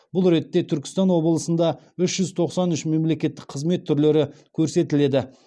бұл ретте түркістан облысында үш жүз тоқсан үш мемлекеттік қызмет түрлері көрсетіледі